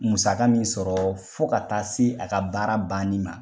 Musaka min sɔrɔ fo ka taa se a ka baara banni ma.